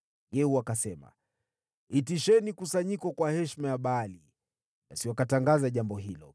Yehu akasema, “Itisheni kusanyiko kwa heshima ya Baali.” Basi wakatangaza jambo hilo.